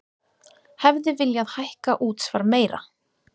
Hefði viljað hækka útsvar meira